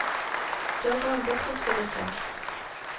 Så kom han bort og skulle se.